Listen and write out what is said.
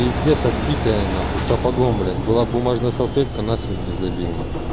пиздец отбитая нахуй сапогом блять была б бумажная салфетка насмерть бы забил нах